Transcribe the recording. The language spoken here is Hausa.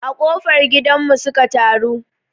A ƙofar gidan mu su ka taru